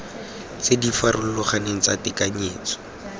tse di farologaneng tsa tekanyetso